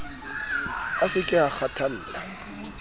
a se ke a kgathalla